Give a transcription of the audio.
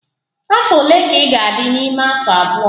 Afọ ole ka ị ga-adị n'ime afọ abụọ?